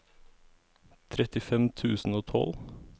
trettifem tusen og tolv